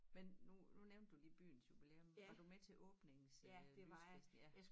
Men nu nu nævnte du lige byens jubilæum var du med til åbnings øh lysfesten ja